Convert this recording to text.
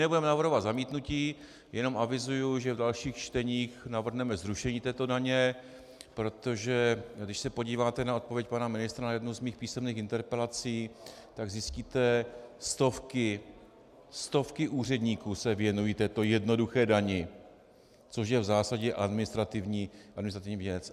Nebudeme navrhovat zamítnutí, jenom avizuji, že v dalších čteních navrhneme zrušení této daně, protože když se podíváte na odpověď pana ministra na jednu z mých písemných interpelací, tak zjistíte - stovky, stovky úředníků se věnují této jednoduché dani, což je v zásadě administrativní věc.